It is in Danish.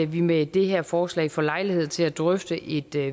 vi med det her forslag får lejlighed til at drøfte et